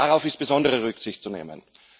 Darauf ist besondere Rücksicht zu nehmen.